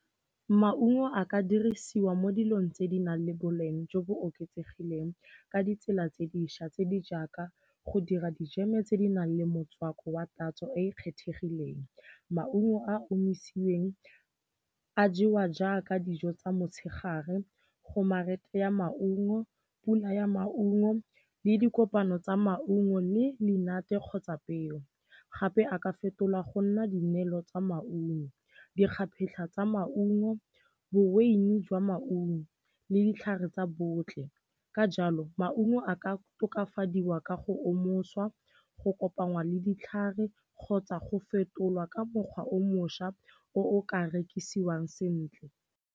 Maungo a ka dirisiwa mo dilong tse di nang le boleng jo bo oketsegileng ka ditsela tse dišwa tse di jaaka go dira dijeme tse di nang le motswako wa tatso e e kgethegileng. Maungo a a omisi'weng a jewa jaaka dijo tsa motshegare, gomare ya maungo, pula ya maungo le dikopano tsa maungo le menate kgotsa peo, gape a ka fetolwa go nna dinelo tsa maungo, dikgaphetlha tsa maungo, boveine jwa maungo le ditlhare tsa botlhe. Ka jalo, maungo a ka tokafadiwa ka go omoswa, go kopangwa le ditlhare kgotsa go fetolwa ka mokgwa o mošwa o o ka rekisiwang sentle.